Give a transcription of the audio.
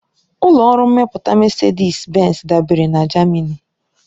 Ụlọ ọrụ mmepụta Mesedis-Benz dabeere na Jamani.